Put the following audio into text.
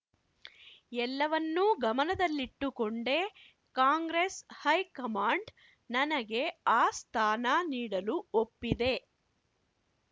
ಎಲ್ಲವನ್ನೂ ಗಮನದಲ್ಲಿಟ್ಟುಕೊಂಡೇ Congress high command ನನಗೆ ಆ ಸ್ಥಾನ ನೀಡಲು ಒಪ್ಪಿದೆ